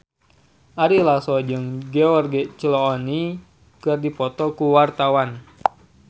Ari Lasso jeung George Clooney keur dipoto ku wartawan